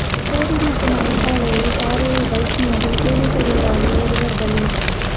போடிமெட்டு மலைச் சாலையில் பாறையில் பைக் மோதி கூலி தொழிலாளி இருவா் பலி